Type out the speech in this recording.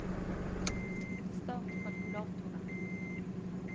start kalkulatoren